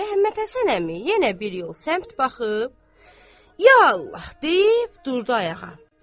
Məmmədhəsən əmi yenə bir yol səmt baxıb, Ya Allah deyib durdu ayağa.